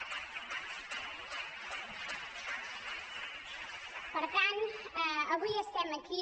per tant avui estem aquí